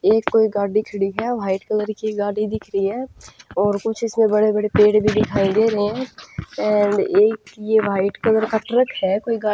एक कोई गाडी खड़ी है वाइट की गाडी दिख रही है और कुछ इसने बड़े पेड़ भी दिखाई दे रहे है ऐंड ये एक वाइट कलर का ट्रक है कोई गा --